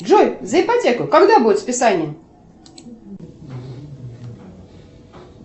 джой за ипотеку когда будет списание